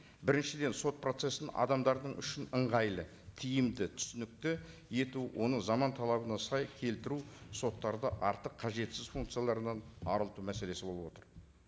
біріншіден сот процессін адамдар үшін ыңғайлы тиімді түсінікті ету оны заман талабына сай келтіру соттарды артық қажетсіз функцияларынан арылту мәселесі болып отыр